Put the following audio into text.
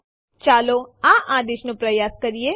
હવે ચાલો જોઈએ એમવી આદેશ કેવી રીતે કામ કરે છે